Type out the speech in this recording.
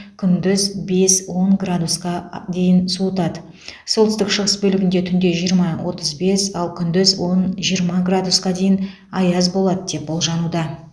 күндіз бес он градусқа дейін суытады солтүстік шығыс бөлігінде түнде жиырма отыз бес ал күндіз он жиырма градусқа дейін аяз болады деп болжануда